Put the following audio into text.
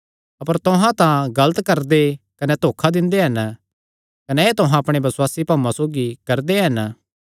अपर तुहां तां गलत करदे कने धोखा दिंदे हन कने एह़ तुहां अपणे बसुआसी भाऊआं सौगी करदे हन